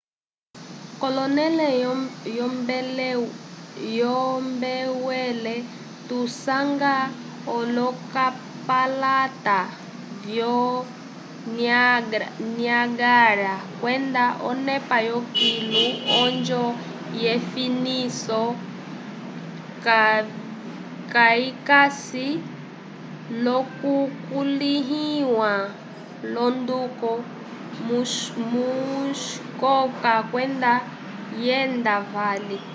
k'onẽle yombwelo tusanga olokatalata vyo niágara kwenda onepa yokilu onjo yefiniso kayikasi lokukulĩhiwa l'onduko muskoka kwenda vyenda vali